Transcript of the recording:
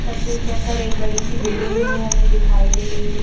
तस्वीर के अंदर एक बड़ी सी बिल्डिंग है हमें दिखाई दे रही है।